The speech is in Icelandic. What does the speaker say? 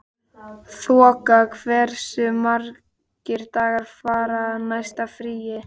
Þoka, hversu margir dagar fram að næsta fríi?